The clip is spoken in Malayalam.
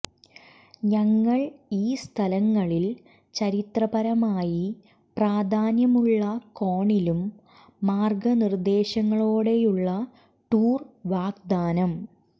ഞങ്ങൾ ഈ സ്ഥലങ്ങളിൽ ചരിത്രപരമായി പ്രാധാന്യമുള്ള കോണിലും മാർഗനിർദേശങ്ങളോടെയുള്ള ടൂർ വാഗ്ദാനം